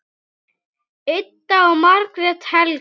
Ida og Margrét Helga.